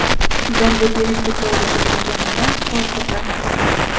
Zarba berishga to‘g‘ri kelmaganida, qo‘l ko‘tarmasdim.